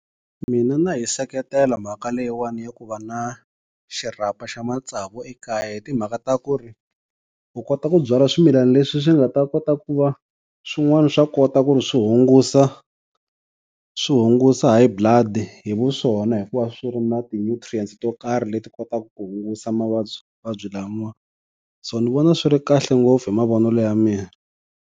Mina na yi seketela mhaka leyiwani ya ku va na xirhapa xa matsavu ekaya, hi timhaka ta ku ri u kota ku byala swimilana leswi swi nga ta kota ku va swin'wana swa kota ku ri swi hungusa swi hungusa High Blood hi vuswona hikuva swi ri na ti-nutrients to karhi leti kotaka ku hungusa mavabyi mavabyi lama, so ni vona swi ri kahle ngopfu hi mavonelo ya mina.